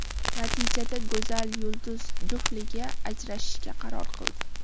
Natijada go‘zal yulduz juftligi ajrashishga qaror qildi.